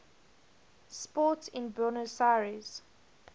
sport in buenos aires